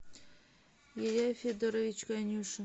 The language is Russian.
илья федорович конюшин